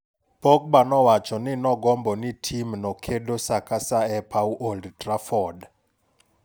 Pogba nowachoni nogombo ni timno kedo saa ka saa e paw Old Trafford.